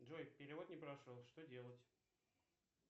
джой перевод не прошел что делать